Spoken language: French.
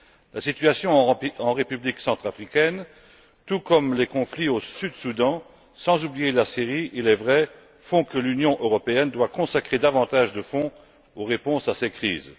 La situation en République centrafricaine, tout comme les conflits au Sud Soudan, sans oublier la Syrie il est vrai, font que l'Union européenne doit consacrer davantage de fonds en réponse à ces crises.